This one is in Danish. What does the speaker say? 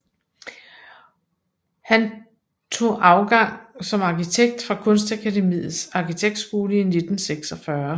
Han tog afgang som arkitekt fra Kunstakademiets Arkitektskole i 1946